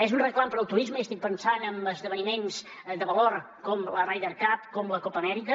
és un reclam per al turisme i estic pensant en esdeveniments de valor com la ryder cup com la copa amèrica